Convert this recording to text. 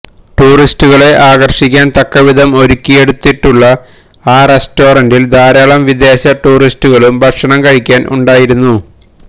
ടൂറിസ്റ്റുകളേ ആകര്ഷിക്കാന് തക്കവിധം ഒരുക്കിയെടുത്തിട്ടുള്ള ആ റസ്റ്റോറന്റില് ധാരാളം വിദേശ ടൂറിസ്റ്റുകളും ഭക്ഷണം കഴിക്കാന് ഉണ്ടായിരുന്നു